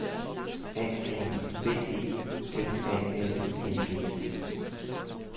A N B E F A L I N G